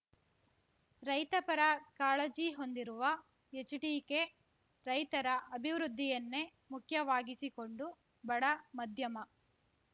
ರೈತಪರ ಕಾಳಜಿ ಹೊಂದಿರುವ ಹೆಚ್ಡಿಕೆ ರೈತರ ಅಭಿವೃದ್ದಿಯನ್ನೆ ಮುಖ್ಯವಾಗಿಸಿಕೊಂಡು ಬಡ ಮಧ್ಯಮ